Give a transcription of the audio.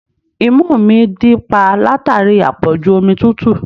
Imú mi dí pa látàrí àpọ̀jù omi tútù